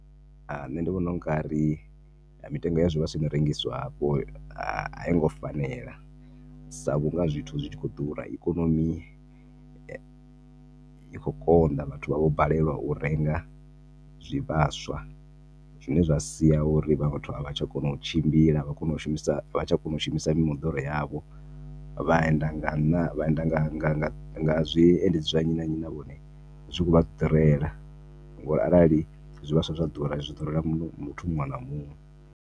Nṋe ndi vhona ungari mitengo ya zwivhaswa ino rengiswa hafho ha a i ngo fanela sa vhunga zwithu zwitshi kho ḓura. Ikonomi ikho konḓa vhathu vha vho balelwa u renga zwivhaswa zwine zwa sia uri havha vhathu a vha tsha kona u tshimbila avha kone shumisa avhatsha kona u shumisa mi moḓoro yavho vha enda nga, ṋa vhaenda nga, nga, nga zwiendedzi zwa nnyi na nnyi na vhone zwikho vha ḓurela ngori arali zwivhaswa zwa ḓura zwi ḓurela muṅwe, muthu muṅwe na muṅwe.